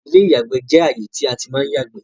ilé ìyàgbẹ́ jẹ ààyè tí a tí má ń yàgbẹ́